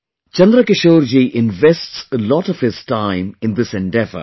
Chandrakishore ji invests a lot of his time in this endeavour